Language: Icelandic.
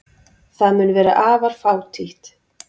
Það mun vera afar fátítt.